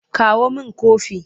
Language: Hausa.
Kawo min kofi!